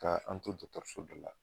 Ka an to do so dɔ la